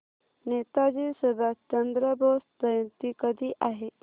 नेताजी सुभाषचंद्र बोस जयंती कधी आहे